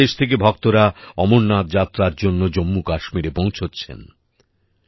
সারা দেশ থেকে ভক্তরা অমরনাথ যাত্রার জন্য জম্মুকাশ্মীরে পৌঁছচ্ছেন